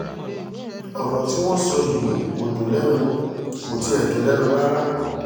ọ̀rọ̀ tí wọ́n sọ yìí kò dùn lẹ́nu kò tiẹ̀ dùn lẹ́nu rárá